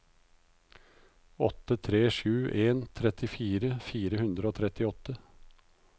åtte tre sju en trettifire fire hundre og trettiåtte